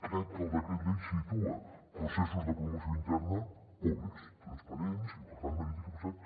crec que el decret llei situa processos de promoció interna públics transparents i per tant mèrit i capacitat